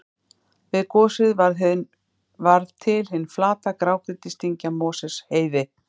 Við gosið varð til hin flata grágrýtisdyngja Mosfellsheiði.